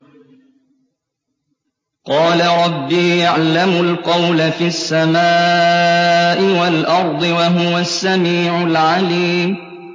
قَالَ رَبِّي يَعْلَمُ الْقَوْلَ فِي السَّمَاءِ وَالْأَرْضِ ۖ وَهُوَ السَّمِيعُ الْعَلِيمُ